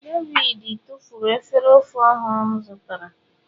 David tufuru efere ofe ọhụrụ m zụtara.